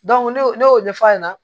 ne y'o ɲɛfɔ a ɲɛna